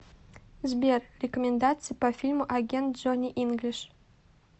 сбер рекомендации по фильму агент джони инглиш